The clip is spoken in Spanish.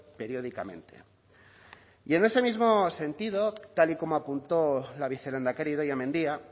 periódicamente y en ese mismo sentido tal y como apuntó la vicelehendakari idoia mendia